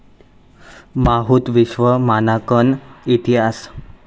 माहूत विश्व मानांकन इतिहास